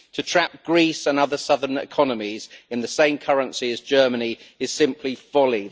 To trap Greece and other southern economies in the same currency as Germany is simply folly.